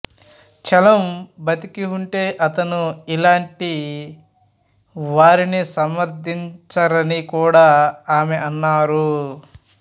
చలం బతికి ఉంటే అతను ఇలాంటి వారిని సమర్థించరని కూడా ఆమె అన్నారు